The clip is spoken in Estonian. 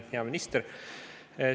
Hea minister!